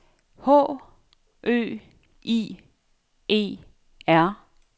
H Ø I E R